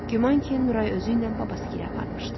Güman ki, Nuray özüylə babası gilə aparmışdı.